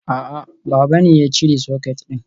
A'a, baba ne ya cire socket din.